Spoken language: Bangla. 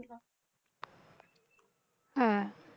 হ্যাঁ।